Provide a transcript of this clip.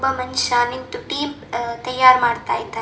ಒಬ್ಬ ಮನುಷ್ಯ ನಿಂತು ಟೀಮ್ ತಯಾರು ಮಾಡ್ತಿದ್ದಾನೆ.